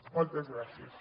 moltes gràcies